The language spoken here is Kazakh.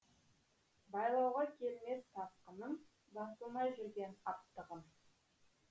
байлауға келмес тасқыным басылмай жүрген аптығым